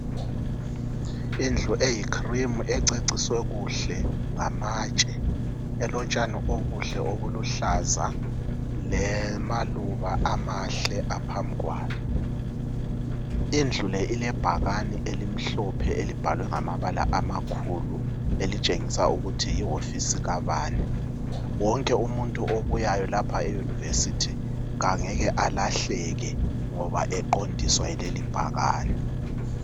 Indlu eyicream ececiswe kuhle ngamatshe elotshani obuhle obuluhlaza lamaluba amahle aphambi kwayo. Indlu le ilebhakane elimhlophe elibhalwe ngamabala amakhulu elitshengisa ukuthi yihofisi kabani. Wonke umuntu obuyayo lapha eyunivesithi angeke alahleke ngoba eqondiswa yileli bhakane.